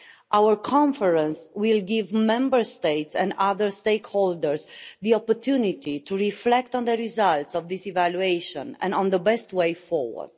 Our conference will give Member States and other stakeholders the opportunity to reflect on the results of this evaluation and on the best way forward.